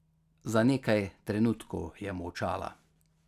Za nekaj trenutkov je molčala.